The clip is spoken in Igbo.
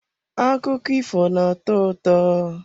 Akụkọ ifo na-atọ ụtọ.